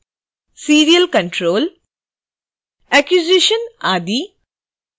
serial control acquisition आदि